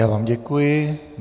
Já vám děkuji.